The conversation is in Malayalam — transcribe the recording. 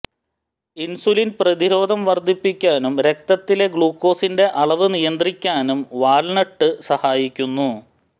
ഇൻസുലിൻ പ്രതിരോധം വർദ്ധിപ്പിക്കാനും രക്തത്തിലെ ഗ്ലൂക്കോസിന്റെ അളവ് നിയന്ത്രിക്കാനും വാൾനട്ട് സഹായിക്കുന്നു